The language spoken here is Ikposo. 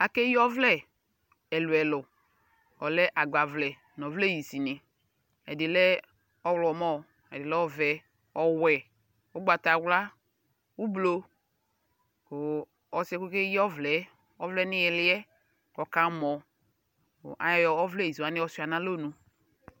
Akeyi ɔvlɛ ɛkʋ ɛkʋ: ɔlɛ agbavlɛ nʋ ɔvlɛ hisi ni Ɛdi lɛ ɔɣlɔmɔ, ɛdi lɛ ɔvɛ, ɔwɛ, ʋgbatawla, ʋblo kʋ ɔsi yɛ k'okeyi ɔvlɛ, ɔvlɛ niyiliɛ kʋ aka mɔ kʋ ayɔ ɔvlɛ hisi wani yɔ sua nalɔnu